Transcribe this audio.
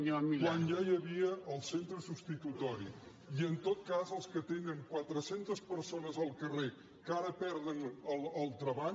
quan ja hi havia el centre substitutori i en tot cas els que tenen quatre·centes persones al carrer que ara perden el treball